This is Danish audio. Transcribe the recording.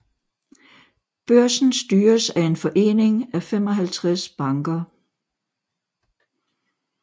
Børsen styres af en forening af 55 banker